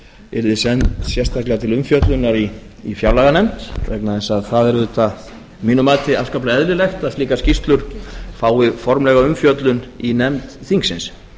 yrði send sérstaklega til umfjöllunar í fjárlaganefnd vegna þess að það er auðvitað að mínu mati afskaplega eðlilegt að slíkar skýrslur fái formlega umfjöllun í nefnd þingsins